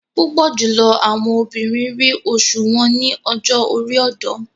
Púpọ jùlọ àwọn obìnrin ríi oṣu wọn ni ọjọ-ori ọdọ